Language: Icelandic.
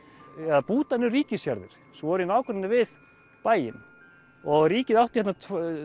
að búta niður ríkisjarðir sem voru í nágrenni við bæinn og ríkið átti hérna